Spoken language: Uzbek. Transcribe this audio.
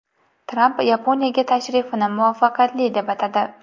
Tramp Yaponiyaga tashrifini muvaffaqiyatli deb atadi.